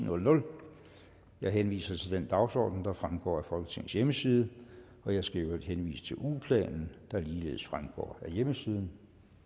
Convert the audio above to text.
jeg henviser til den dagsorden der fremgår af folketingets hjemmeside jeg skal i øvrigt henvise til ugeplanen der ligeledes fremgår af hjemmesiden